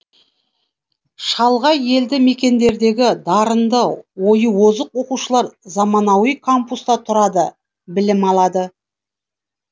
шалғай елді мекендердегі дарынды ойы озық оқушылар заманауи кампуста тұрады білім алады